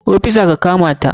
Ofisa ka kamata!